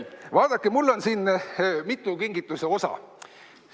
Vaadake, mul on siin mitu kingituse osa.